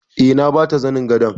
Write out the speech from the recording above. Eh. na bata zanin gadon.